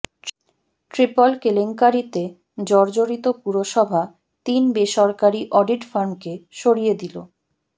triple কেলেঙ্কারিতে জর্জরিত পুরসভা তিন বেসরকারি অডিট ফার্মকে সরিয়ে দিল